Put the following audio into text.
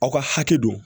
Aw ka hakɛ don